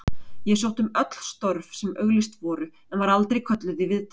Ég sótti um öll störf sem auglýst voru en var aldrei kölluð í viðtal.